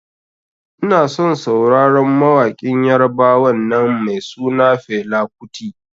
Inason sauraron mawaƙin yarbawan nan mai suna Fela kuti.